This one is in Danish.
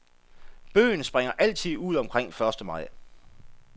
Bøgen springer altid ud omkring første maj.